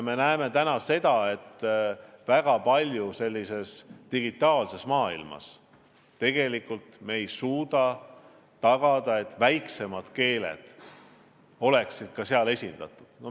Me näeme, et digitaalses maailmas tegelikult ei suudeta tagada, et ka väiksemad keeled oleksid seal esindatud.